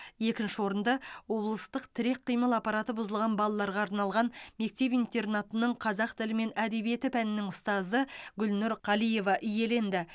екінші орынды облыстық тірек қимыл аппараты бұзылған балаларға арналған мектеп интернатының қазақ тілі мен әдебиеті пәнінің ұстазы гүлнұр қалиева иеленді